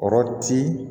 Kɔrɔ ti